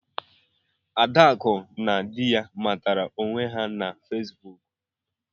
Adaku na dị ya matara onwe her na Fesbụụk.